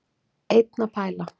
Einn að pæla.